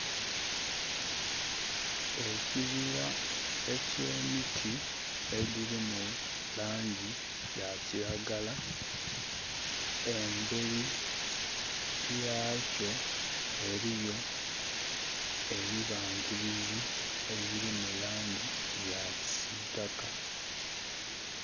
Ekibira ky'emiti edhili mu laangi ya kiragala. Embeli yakyo eliyo ebibangirizi ebilimu laangi ya kisiitaka.